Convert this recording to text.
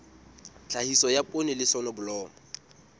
tlhahiso ya poone le soneblomo